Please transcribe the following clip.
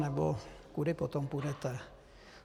Nebo kudy potom půjdete?